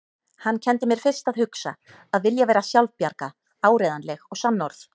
Hann kenndi mér fyrst að hugsa, að vilja vera sjálfbjarga, áreiðanleg og sannorð.